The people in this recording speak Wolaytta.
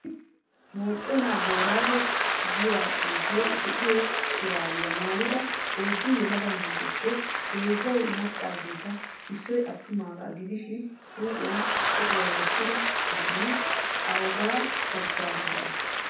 "Moochchena booraago" giya xuufee de"iyoo shuraabiya maayida oyddu yelaga naatuppe heezzay maccaageeta issoy attumaagaa gidishin huphiyan qophiya wottida na"iyaa awugaa baggaara de"ay?